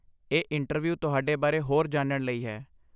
ਇਹ ਇੰਟਰਵਯੂ ਤੁਹਾਡੇ ਬਾਰੇ ਹੋਰ ਜਾਣਨ ਲਈ ਹੈ